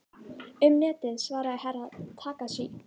Um Netið, svaraði Herra Takashi.